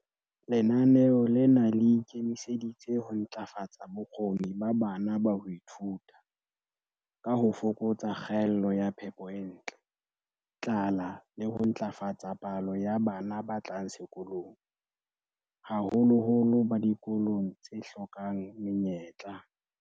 Lenaneo lena le ikemiseditse ho ntlafatsa bokgoni ba bana ba ho ithuta, ka ho fokatsa kgaello ya phepo e ntle, tlala le ho ntlafatsa palo ya bana ba tlang sekolong, haholoholo ba dikolong tse hlokang menyetla.